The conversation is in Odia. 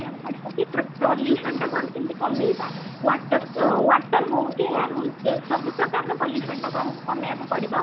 କି pollution କୁ ଆମେ କେମିତି କମେଇବା water water ହଉ କି air ହଉ ସବୁ ପ୍ରକାରର pollution ଟାକୁ କମେଇବାକୁ ପଡିବ